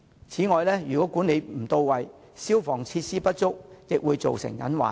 此外，如果管理不到位和消防設施不足，也會造成隱患。